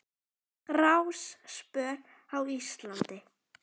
Gráspör á Íslandi